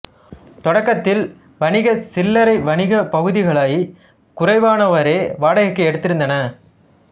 தொடக்கத்தில் வணிக சில்லறை வணிகப் பகுதிகளைக் குறைவானோரே வாடகைக்கு எடுத்திருந்தன